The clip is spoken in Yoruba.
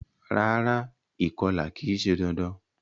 Rárá, ìkolà ki se dandan